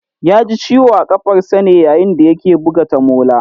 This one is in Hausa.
Ya ji ciwo a kafarsa ne yayin da ya ke buga tamola